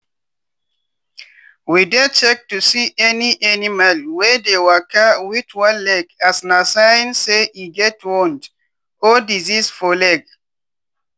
we dey check to see any animal wey dey waka wit one leg as na sign say e get wound or disease for leg.